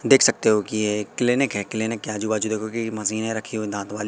देख सकते हो कि ये एक क्लीनिक है क्लीनिक के आजू बाजू देखोगे कि मशीने रखी है दांतों वाली--